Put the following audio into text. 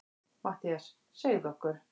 MATTHÍAS: Segðu okkur.